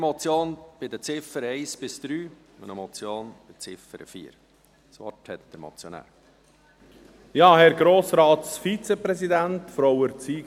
Es handelt sich um eine Richtlinienmotion bei den Ziffern 1 bis 3 und um eine Motion bei der Ziffer 4.